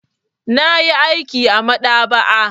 Na yi aiki a maɗaba'a.